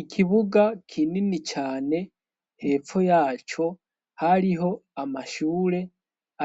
Ikibuga kinini cane hepfo yaco hariho amashure